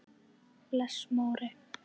Bless Móri!